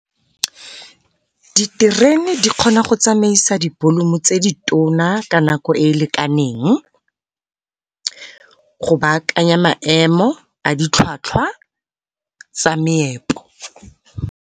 Diterene di kgona go tsamaisa di-volume tse di tona ka nako e e lekaneng, go baakanya maemo a ditlhwatlhwa tsa meepo.